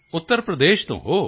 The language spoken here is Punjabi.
ਉੱਤਰ ਪ੍ਰਦੇਸ਼ ਤੋਂ ਹੋ